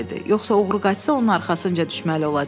Yoxsa oğru qaçsa, onun arxasınca düşməli olacam.